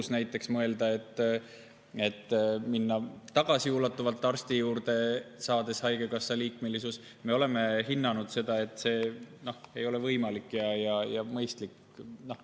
Aga näiteks täna, kuu lõpus mõelda, et minna tagasiulatuvalt arsti juurde, olles saanud haigekassa liikmesuse – me oleme hinnanud, et see ei ole võimalik ega mõistlik.